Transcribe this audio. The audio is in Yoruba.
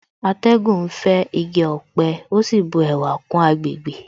Atẹ́gùn ń fẹ́ igi ọ̀pẹ ó sì bu ẹwà kún àgbègbè